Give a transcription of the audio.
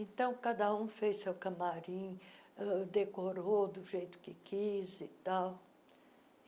Então, cada um fez seu camarim uh, decorou do jeito que quis e tal.